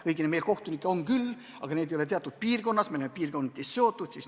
Õigemini meil kohtunikke on küll, aga nad on vaid teatud piirkonnas, nad on piirkondadega seotud.